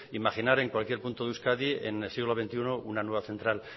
imaginar en cualquier punto de euskadi en el siglo veintiuno una nueva central